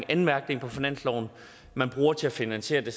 anmærkning på finansloven man bruger til at finansiere det